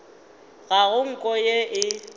ga go nko yeo e